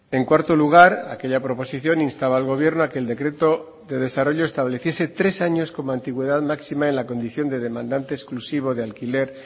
en cuarto lugar aquella proposición instaba al gobierno a que el decreto de desarrollo estableciese tres años como antigüedad máxima en la condición de demandante exclusivo de alquiler